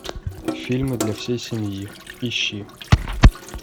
фильмы для всей семьи ищи